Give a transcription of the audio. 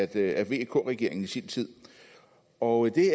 af vk regeringen i sin tid og det